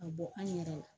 A bɔ an yɛrɛ la